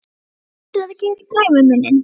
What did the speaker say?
Og þú heldur það geri gæfumuninn?